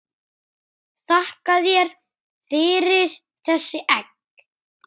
Þakka þér fyrir þessi egg.